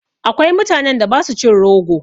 Akwai mutanen da ba su cin rogo.